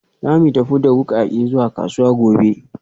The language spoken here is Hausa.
Za mu tafi da wukake zuwa kasuwa gobe